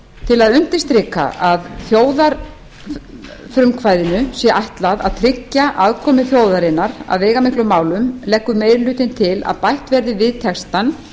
til að undirstrika að þjóðarfrumkvæðinu sé ætlað að tryggja aðkomu þjóðarinnar að veigamiklum málum leggur meiri hlutinn til að bætt verði við textann